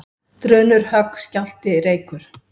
Drunur, högg, skjálfti, reykur.